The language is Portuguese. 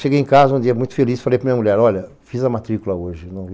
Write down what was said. Cheguei em casa um dia muito feliz, falei para minha mulher, olha, fiz a matrícula hoje.